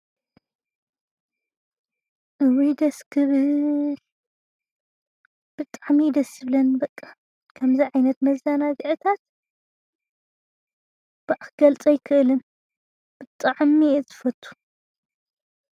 እዉይ ደስ ክብል ብጣዕሚ እዩ ደስ ዝብለኒ በቃ ከምዚ ዓይነት መዝናግዒታት ባእ ክገልፆ ኣይክእልን ብጣዕሚ እየ ዝፈቱ ።